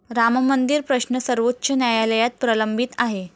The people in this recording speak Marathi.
राममंदिर प्रश्न सर्वोच्च न्यायालयात प्रलंबित आहे.